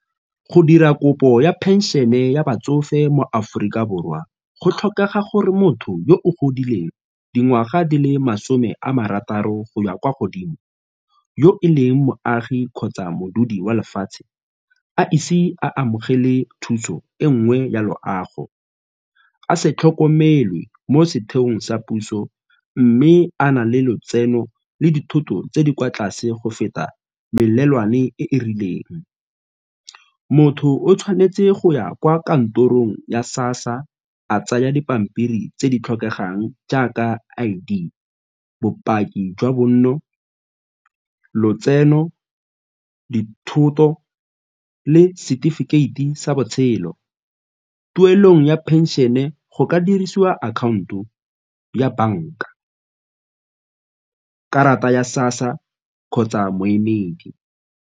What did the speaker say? Go dira kopo ya phenšene ya batsofe mo Aforika Borwa go tlhokega gore motho yo o godileng dingwaga di le masome a marataro go ya kwa godimo yo e leng moagi kgotsa modudi wa lefatshe a ise a amogele thuso e nngwe ya loago, a se tlhokomelwe mo setheong sa puso mme a na le letseno le dithoto tse di kwa tlase go feta melelwane e e rileng. Motho o tshwanetse go ya kwa kantorong ya SASSA, a tsaya dipampiri tse di tlhokegang jaaka I_D, bopaki jwa bonn, lotseno, dithoto le setefikeiti sa botshelo. Tuelong ya phenšene go ka dirisiwa akhaonto ya banka, ka karata ya SASSA kgotsa moemedi.